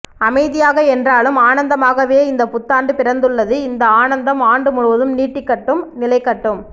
அமைதியாக என்றாலும் ஆனந்தமாகவே இந்த புத்தாண்டு பிறந்துள்ளது இந்த ஆனந்தம் ஆண்டு முழுவதும் நீடிக்கட்டும் நிலைக்கட்டும்